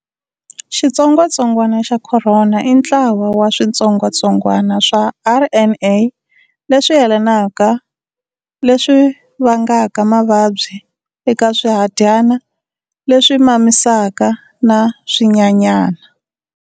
Xitsongwatsongwana xa Khorona i ntlawa wa switsongwatsongwana swa RNA leswi yelanaka leswi vangaka mavabyi eka swihadyana leswi mamisaka na swinyanyana.